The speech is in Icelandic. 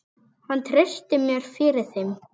Hann treysti mér fyrir þeim.